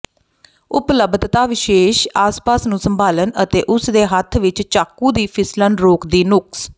ਉਪਲੱਬਧਤਾ ਵਿਸ਼ੇਸ਼ ਆਸਪਾਸ ਨੂੰ ਸੰਭਾਲਣ ਅਤੇ ਉਸ ਦੇ ਹੱਥ ਵਿਚ ਚਾਕੂ ਦੀ ਫਿਸਲਣ ਰੋਕਦੀ ਨੁਕਸ